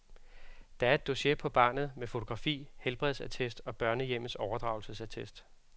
Der er et dossier på barnet, med fotografi, helbredsattest og børnehjemmets overdragelsesattest.